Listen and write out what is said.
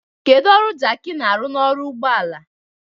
Kedu ọrụ jakị na-arụ ọrụ ụgbọ ala?